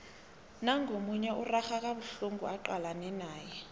nangu omunye urarha kabuhlungu acalane naye